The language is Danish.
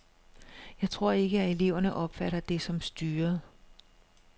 Jeg tror ikke, at eleverne opfatter det som styret.